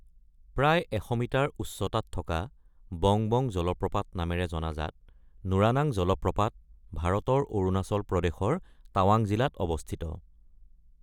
প্ৰায় ১০০ মিটাৰ উচ্চতাত থকা বং বং জলপ্ৰপাত নামেৰে জনাজাত নুৰানাং জলপ্ৰপাত ভাৰতৰ অৰুণাচল প্ৰদেশৰ টাৱাং জিলাত অৱস্থিত।